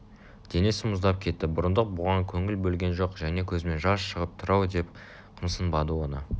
денесі мұздап кетті бұрындық бұған көңіл бөлген жоқ және көзімнен жас шығып тұр-ау деп қымсынбады оны